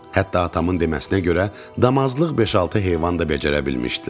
Hətta atamın deməsinə görə, damazlıq beş-altı heyvan da becərə bilmişdilər.